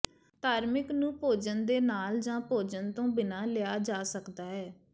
ਧਾਰਿਮਕ ਨੂੰ ਭੋਜਨ ਦੇ ਨਾਲ ਜਾਂ ਭੋਜਨ ਤੋਂ ਬਿਨਾਂ ਲਿਆ ਜਾ ਸਕਦਾ ਹੈ